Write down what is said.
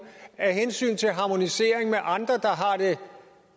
af hensyn til harmonisering med andre der har det